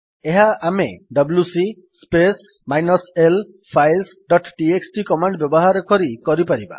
ଏହା ଆମେ WC space minus l files dot TXT command ବ୍ୟବହାର କରି କରିପାରିବା